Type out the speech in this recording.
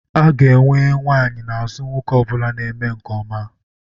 A ga-enwe nwanyị n'azụ nwoke ọ bụla na-eme nke ọma.